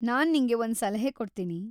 ನಾನ್ ನಿಂಗೆ ಒಂದ್ ಸಲಹೆ ಕೊಡ್ತೀನಿ.